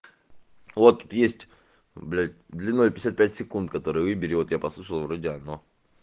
вот есть блять длиной пятьдесят пять секунд который выбери вот я послушал вроде оно